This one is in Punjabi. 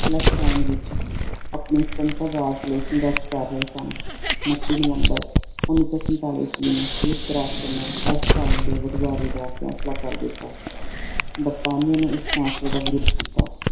ਆਪਣੇ ਸੁਤੰਤਰ ਰਾਜ ਲਈ ਸੰਘਰਸ਼ ਕਰ ਰਹੇ ਸਨ ਉਣੱਤੀ ਨਵੰਬਰ ਉੱਨੀ ਸੌ ਸੰਤਾਲੀ ਈਸਵੀ ਨੂੰ ਸੰਯੁਕਤ ਰਾਸ਼ਟਰ ਨੇ ਦੇ ਬਟਵਾਰੇ ਦਾ ਫੇਸਲਾ ਕਰ ਦਿੱਤਾ, ਬਰਤਾਨੀਆ ਨੇ ਇਸ ਫੈਸਲੇ ਦਾ ਵਿਰੁੱਧ ਕੀਤਾ